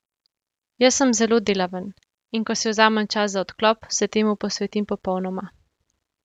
Jaz sem zelo delaven, in ko si vzamem čas za odklop, se temu posvetim popolnoma.